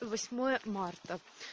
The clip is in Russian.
то восьмое марта